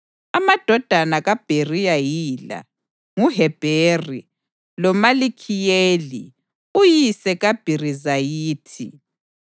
Amadodana kaBheriya yila: nguHebheri loMalikhiyeli uyise kaBhirizayithi.